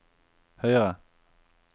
høyere